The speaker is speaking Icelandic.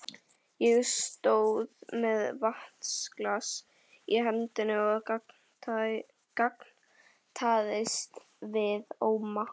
Ég stóð með vatnsglas í hendinni og gantaðist við Óma.